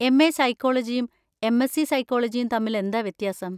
MA. സൈക്കോളജിയും M. S. C സൈക്കോളജിയും തമ്മിലെന്താ വ്യത്യാസം?